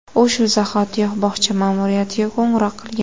U shu zahotiyoq bog‘cha ma’muriyatiga qo‘ng‘iroq qilgan.